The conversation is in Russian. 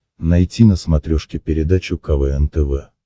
найти на смотрешке передачу квн тв